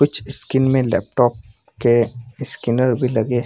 कुछ स्किन में लैपटॉप के स्किनर भी लगे --